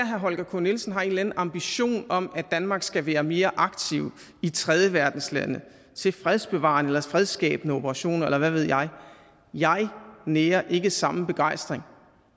herre holger k nielsen har en eller anden ambition om at danmark skal være mere aktiv i tredjeverdenslande til fredsbevarende eller fredsskabende operationer eller hvad ved jeg jeg nærer ikke samme begejstring